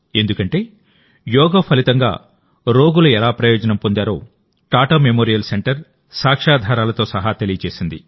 ఎందుకంటేయోగా ఫలితంగా రోగులు ఎలా ప్రయోజనం పొందారో టాటా మెమోరియల్ సెంటర్ సాక్ష్యాధారాలతో సహా తెలియజేసింది